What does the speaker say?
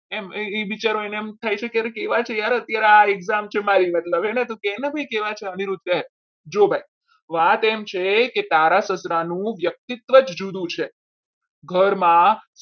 એ એ વિચારો એને થાય છે કે કેવા છે યાર અત્યારે આ exam છે મારી મતલબ એને ભાઈ કેવા છે અનિરુદ્ધ કહે જો ભાઈ વાત એમ છે કે તારા સસરા નું વ્યક્તિત્વ જ જુદું છે. ઘરમાં